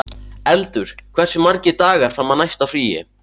Eldur, hversu margir dagar fram að næsta fríi?